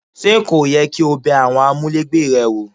Ṣé kò yẹ kí o bẹ àwọn amulegbe rẹ wò?